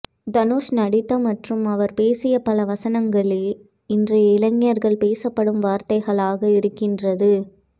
தனுஷ் நடித்த மற்றும் அவர் பேசிய பல வசனங்களே இன்றைய இளஞர்கள் பேசப்படும் வார்த்தைகளாக இருக்கின்றது